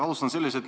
Alustan selliselt.